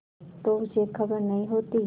तो उसे खबर नहीं होती